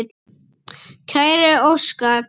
Kæri Óskar.